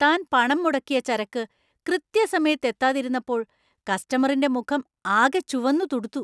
താൻ പണം മുടക്കിയ ചരക്ക് കൃത്യസമയത്ത് എത്താതിരുന്നപ്പോൾ കസ്റ്റമറിന്‍റെ മുഖം ആകെ ചുവന്നു തുടുത്തു .